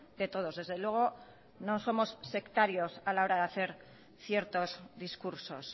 de todos desde luego no somos sectarios a la hora de hacer ciertos discursos